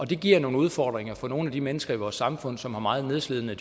det giver nogle udfordringer for nogle af de mennesker i vores samfund som har meget nedslidende